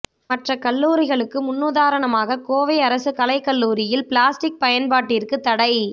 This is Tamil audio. மற்ற கல்லூரிகளுக்கு முன்னுதாரணமாக கோவை அரசு கலைக்கல்லூரியில் பிளாஸ்டிக் பயன்பாட்டிற்கு தடை